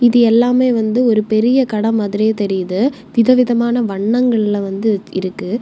சித்தி எல்லாமே வந்து ஒரு பெரிய கடை மாதிரி தெரியுது விதவிதமான வண்ணங்கள்ல வந்து இருக்கு.